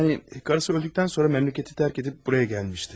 Yani, karısı öldükdən sonra məmləkəti tərk edib buraya gəlmişdi.